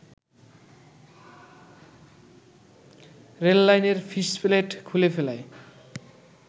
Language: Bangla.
রেললাইনের ফিসপ্লেট খুলে ফেলায়